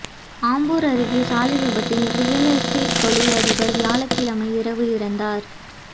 ஆம்பூா் அருகே சாலை விபத்தில் ரியல் எஸ்டேட் தொழிலதிபா் வியாழக்கிழமை இரவு இறந்தாா்